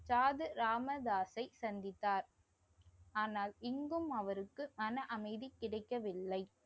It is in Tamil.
சாது ராமதாஸை சந்தித்தார். ஆனால் இங்கும் அவருக்கு மன அமைதி கிடைக்கவில்லை